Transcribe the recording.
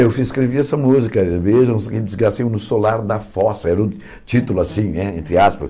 Eu fiz escrevi essa música, que desgraça, no Solar da Fossa, era o título assim né, entre aspas.